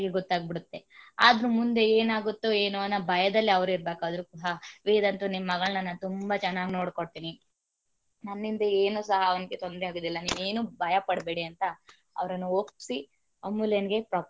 ಬೀಡುತ್ತೇ ಆದ್ರೂ ಮುಂದೆ ಏನಾಗುತ್ತೋ ಏನೋ ಅನ್ನೋ ಭಯದಲ್ಲಿ ಅವರು ಇರಬೇಕಾದ್ರೆ ಸಹ ವೇದಾಂತು ನಿಮ್ಮ ಮಗಳನ್ನ ನಾನು ತುಂಬಾ ಚೆನ್ನಾಗಿ ನೋಡಕೊಳ್ತೀನಿ ನನ್ನಿಂದ ಏನೂ ಸಹ ಅವಳಿಗೆ ತೊಂದರೆ ಆಗೋದಿಲ್ಲ ಏನೋ ಭಯ ಪಡಬೇಡಿ ಅಂತ ಅವರನ್ನ ಒಪ್ಪಿಸಿ ಅಮೂಲ್ಯಂಗೆ.